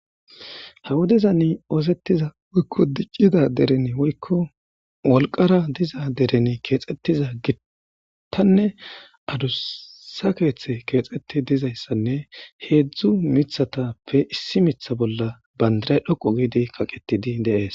ha wodeza ni oosettiza woykko diccida dereni woykko wolqara diza deren keexxettiza gittanne adusa keeththe keexxeti dizayssanne heedzdzu mithatappe issi mitha bolla bandiray dhoqu giidi kaqetidi deees